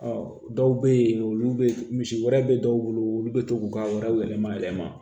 dɔw bɛ yen olu bɛ misi wɛrɛ bɛ dɔw bolo olu bɛ to k'u ka wariw yɛlɛma yɛlɛma